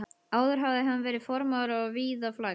Áður hafði hann verið farmaður og víða flækst.